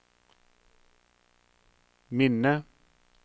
minne